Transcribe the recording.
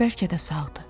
Bəlkə də sağdır.